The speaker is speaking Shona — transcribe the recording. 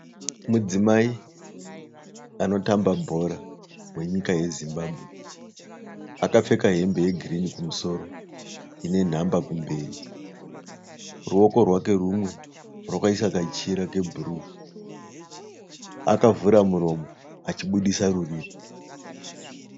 Mudzimai anotamba bhora wenyika yeZimbabwe. Akapfeka hembe yegirini kumusoro ine nhamba kumberi. Ruoko rwake rumwe rwakaisa kachira kebhuruu. Akavhura muromo achibudisa rurimi.